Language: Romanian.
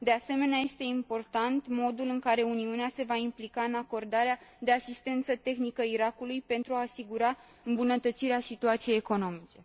De asemenea, este important modul în care Uniunea se va implica în acordarea de asistență tehnică Irakului, pentru a asigura îmbunătățirea situației economice.